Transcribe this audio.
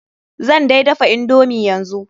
Zan dai dafa indomi yanzu.